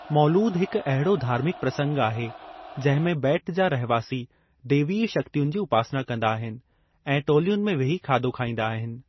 मौलूद हिक अहिड़ो धार्मिक प्रसंग आहे, जंहिं में ॿेट जा रहिवासी दैवीय शक्तियुनि जी उपासना कंदा आहिनि ऐं टोलियुनि में वेही खाधो खाईंदा आहिनि।